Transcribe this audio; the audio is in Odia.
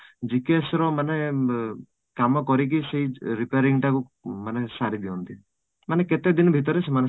GKS ର ମାନେ କାମ କରିକି ସେଇ repairing ଟାକୁ ମାନେ ସାରିଦିଅନ୍ତି ମାନେ କେତେ ଦିନ ଭିତରେ ସେମାନ